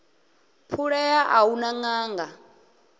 phulea a hu na ṅanga